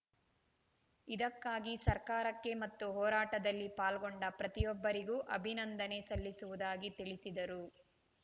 ಇದಕ್ಕಾಗಿ ಸರ್ಕಾರಕ್ಕೆ ಮತ್ತು ಹೋರಾಟದಲ್ಲಿ ಪಾಲ್ಗೊಂಡ ಪ್ರತಿಯೊಬ್ಬರಿಗೂ ಅಭಿನಂದನೆ ಸಲ್ಲಿಸುವುದಾಗಿ ತಿಳಿಸಿದರು